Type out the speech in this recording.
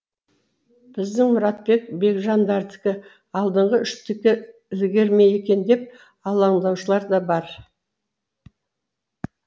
біздің мұратбек бекжандардікі алдыңғы үштікке ілігер ме екен деп алаңдаушылар да бар